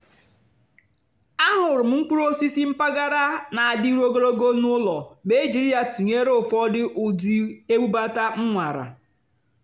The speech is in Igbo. àhụ́rụ́ m mkpụ́rụ́ ósìsì mpàgàrà nà-àdì́rù ógólògó n'ụ́lọ̀ mà é jìrí yá tụ́nyeré ụ́fọ̀dụ́ ụ́dị́ ébúbátá m nwàrà.